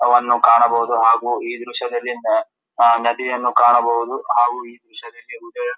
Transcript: ಅವನ್ನು ಕಾಣಬಹುದು ಹಾಗು ಈ ದ್ರಶ್ಯದಲ್ಲಿ ನದಿಯನ್ನು ಕಾಣಬಹುದು ಹಾಗು ಈ ದ್ರಶ್ಯದಲ್ಲಿ